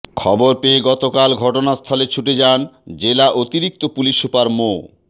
খবর পেয়ে গতকাল ঘটনাস্থলে ছুটে যান জেলা অতিরিক্ত পুলিশ সুপার মো